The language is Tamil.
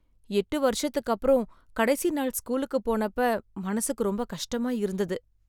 எட்டு வருஷத்துக்கு அப்புறம், கடைசி நாள் ஸ்கூலுக்கு போனப்ப மனசுக்கு ரொம்ப கஷ்டமா இருந்தது.